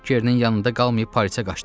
Kerenin yanında qalmayıb Parisə qaçdım.